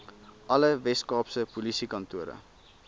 alle weskaapse polisiekantore